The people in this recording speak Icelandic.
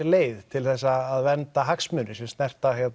leið til þess að vernda hagsmuni sem snerta